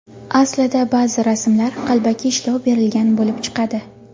Aslida ba’zi rasmlar qalbaki ishlov berilgan bo‘lib chiqadi.